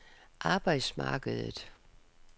arbejdsmarkedet